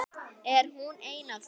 Er hún ein af þeim?